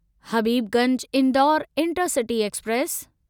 Habibganj Indore intercity express